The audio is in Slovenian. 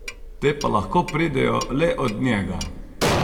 Te pa lahko pridejo le od njega.